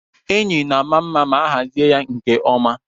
Enyi na-ama mma ma a hazie ya nke ọma.